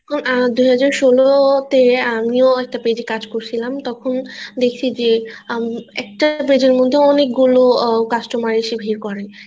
আহ দু হাজার ষোলতে আমি ও একটা page এ কাজ করছিলাম তখন দেখছি যে একটা এর মধ্যে অনেক গুলো customer এসে ভিড় করে